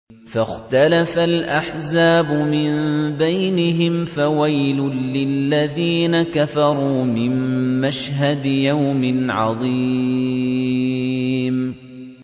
فَاخْتَلَفَ الْأَحْزَابُ مِن بَيْنِهِمْ ۖ فَوَيْلٌ لِّلَّذِينَ كَفَرُوا مِن مَّشْهَدِ يَوْمٍ عَظِيمٍ